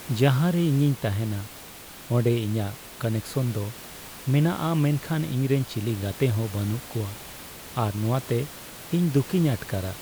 ᱡᱟᱦᱟᱨᱮ ᱤᱧᱤᱧ ᱛᱟᱦᱮᱱᱟ ᱚᱸᱰᱮ ᱤᱧᱟᱹᱜ ᱠᱟᱱᱮᱠᱥᱚᱱ ᱫᱚ ᱢᱮᱱᱟᱜᱼᱟ, ᱢᱮᱱᱠᱷᱟᱱ ᱤᱧᱨᱮᱱ ᱪᱤᱞᱤ ᱜᱟᱛᱮ ᱦᱚᱸ ᱵᱟᱹᱱᱩᱜ ᱠᱚᱣᱟ ᱟᱨ ᱱᱚᱶᱟᱛᱮ ᱤᱧ ᱫᱩᱠᱤᱧ ᱟᱴᱠᱟᱨᱟ ᱾